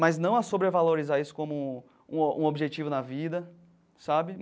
mas não a sobrevalorizar isso como um um objetivo na vida, sabe?